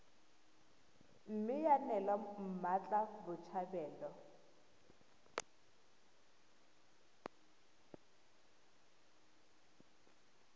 mme ya neelwa mmatla botshabelo